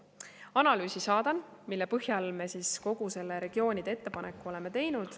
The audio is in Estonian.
Saadan analüüsi, mille põhjal me kogu selle regioonide ettepaneku oleme teinud.